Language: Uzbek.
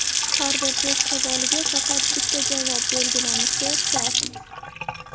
Har bir test savoliga faqat bitta javob belgilanishi shart.